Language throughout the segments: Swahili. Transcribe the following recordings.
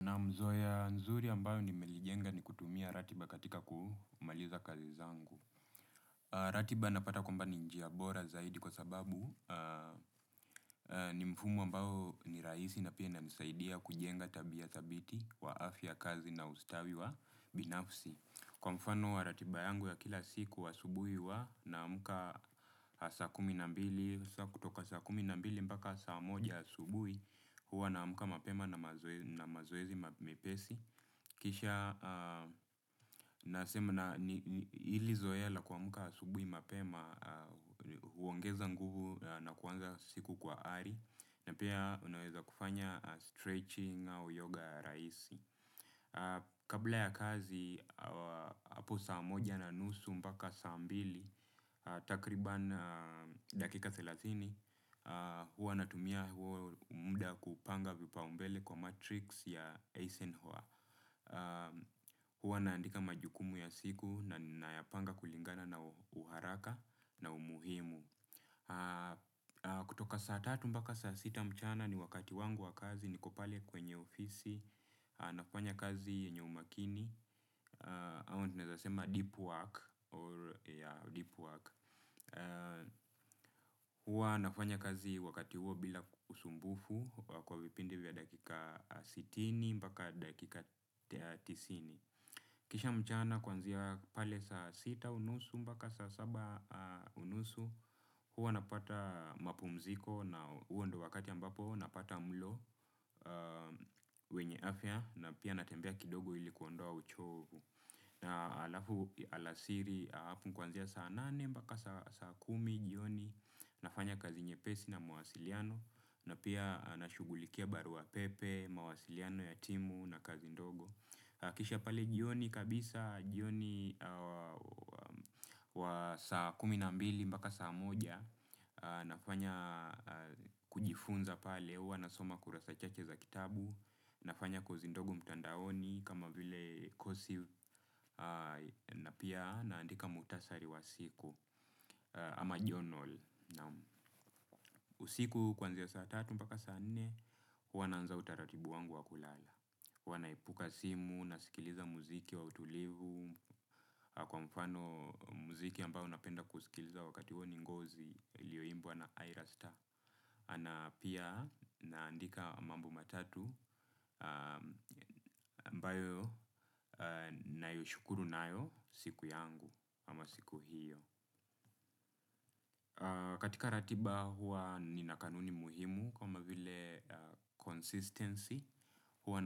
Na mazoea mazuri ambayo nimejenga ni kutumia ratiba katika kumaliza kazi zangu. Ratiba napata kuwa ni njia bora zaidi kwa sababu ni mfumo ambao ni rahisi na pia inanisaidia kujenga tabia thabiti kwa afya ya kazi na ustawi wa binafsi. Kwa mfano wa ratiba yangu ya kila siku ya asubuhi huwa naamka saa kumi na mbili hadi saa moja asubuhi. Huwa naamka mapema na mazoezi mepesi. Kisha nasema, ili zoea la kuamka asubuhi mapema huongeza nguvu na kuanza siku kwa ari, na pia unaweza kufanya stretching au yoga rahisi. Kabla ya kazi, hapo saa moja na nusu mpaka saa mbili, takriban dakika thelathini. Huwa natumia muda kupanga vipaumbele kwa Matrix ya Eisenhower. Huwa naandika majukumu ya siku na nayapanga kulingana na uharaka na umuhimu. Kutoka saa tatu mpaka saa sita mchana ni wakati wangu wa kazi. Niko pale kwenye ofisini, nafanya kazi yenye umakini, au ninaweza sema deep work. Huwa nafanya kazi wakati huo bila usumbufu. Kwa vipindi vya dakika sitini mpaka dakika tisini. Kisha mchana, kuanzia pale saa sita na nusu mpaka saa saba na nusu, huwa napata mapumziko, na huo ndio wakati ambapo napata mlo. Wenye afya, na pia natembea kidogo ili kuondoa uchovu. Halafu alasiri, hapo kuanzia saa nane mpaka saa kumi jioni, nafanya kazi nyepesi na mawasiliano. Na pia nashughulikia barua pepe, mawasiliano ya timu na kazi ndogo. Kisha pale jioni kabisa, kuanzia saa kumi na mbili mpaka saa moja, najifunza kwa kusoma kurasa chache za kitabu. Nafanya kozi ndogo mtandaoni, kama vile kozi, na pia naandika muhtasari wa siku. Ama journal. Na usiku, kuanzia saa tatu mpaka saa nne, naanza utaratibu wangu wa kulala. Naiweka simu mbali na kusikiliza muziki wa utulivu, kwa mfano. Muziki ambao napenda kusikiliza wakati huo ni ngozi ulioimbwa na high ruster na pia naandika mambo matatu ambayo nayashukuru nayo siku yangu au siku hiyo. Katika ratiba huwa nina kanuni muhimu kama vile consistency. Huwa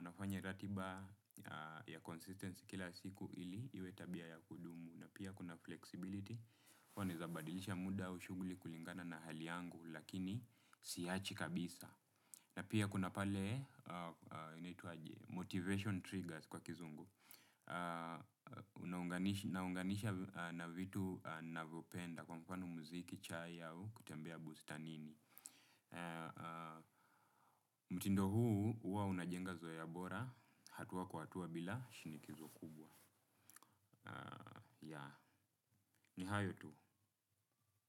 nafanya ratiba kwa consistency kila siku ili iwe tabia ya kudumu, na pia kuna flexibility. Kwani naweza kubadilisha muda wa shughuli kulingana na hali yangu, lakini siiachi kabisa. Na pia kuna pale motivation triggers kwa kizungu. Naunganisha na vitu ninavyopenda, kwa mfano muziki, chai, kutembea bustanini. Mtindo huu huwa unajenga zoea bora, hatua kwa hatua bila shinikizo kubwa. Ya, ni hayo tu.